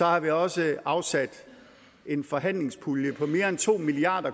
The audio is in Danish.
har vi også afsat en forhandlingspulje på mere end to milliard